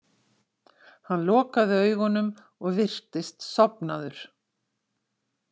Hann lokaði augunum og virtist sofnaður.